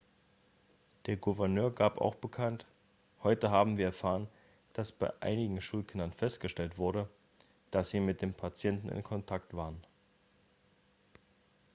der gouverneur gab auch bekannt heute haben wir erfahren dass bei einigen schulkindern festgestellt wurde dass sie mit dem patienten in kontakt waren